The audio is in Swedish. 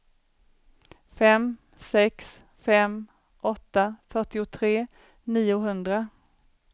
fem sex fem åtta fyrtiotre niohundra